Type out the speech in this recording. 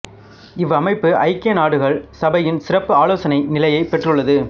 இவ்வமைப்பு ஐக்கிய நாடுகள் சபையின் சிறப்பு ஆலோசனை நிலையைப் பெற்றுள்ளது